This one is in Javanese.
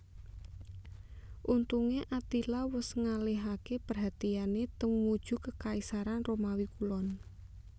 Untungé Attila wus ngalihaké perhatiané tumuju Kekaisaran Romawi Kulon